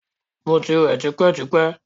Mo ti wẹ̀ tipẹ́-tipẹ́!